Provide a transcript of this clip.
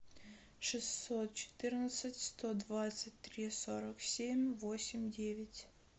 шестьсот четырнадцать сто двадцать три сорок семь восемь девять